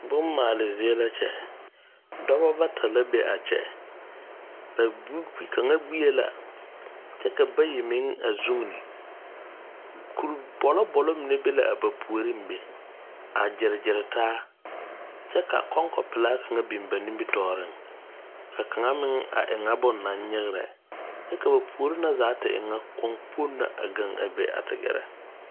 Bommaale zie la kyɛ, dɔbɔ bata la be a kyɛ, ba bu… gbi, kaŋa gbie la kyɛ ka bayi meŋ a zugini, kuri bɔlɔ bɔlɔ mine be la a ba puoriŋ be, a gyeregyere taa, kyɛ ka kɔŋkɔ pelaa kaŋa biŋ ba nibitɔɔreŋ, ka kaŋa meŋ a e ŋa bone naŋ nyegrɛ kyɛ ka ba puori na zaa te e ŋa koɔŋkpoŋ na a gaŋ be a te gɛrɛ.